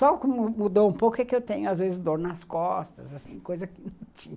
Só que mudou um pouco é que eu tenho às vezes dor nas costas, assim, coisa que não tinha